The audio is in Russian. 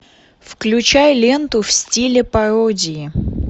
включай ленту в стиле пародии